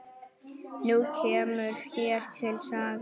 Nú kemur hér lítil saga.